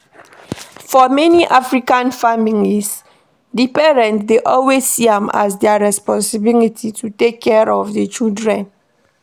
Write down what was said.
For many African families, di parent dey always see am as their responsibility to take care of di children